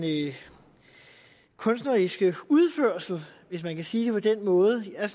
kunstneriske udførelse hvis man kan sige det på den måde jeg er